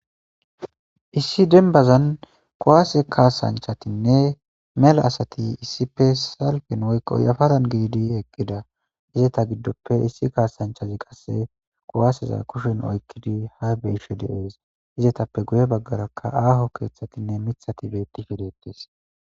Issi dembazani kuwase kasanchatine mela asati kasan woy sargen yaparan didi eqida eta gidoppe issi kasanchazi qase kuwaseza kushen oykidi ha besishe dees izzetappe guye bagaraka aho kethatine mithati betishe detes